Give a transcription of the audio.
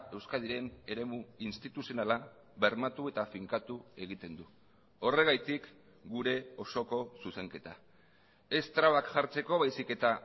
euskadiren eremu instituzionala bermatu eta finkatu egiten du horregatik gure osoko zuzenketa ez trabak jartzeko baizik eta